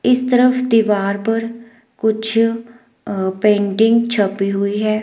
इस तरफ दीवार पर कुछ अ पेंटिंग छपी हुई है।